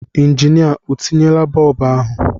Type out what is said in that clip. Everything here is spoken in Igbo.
Injinịa o tinyela bọb ahụ?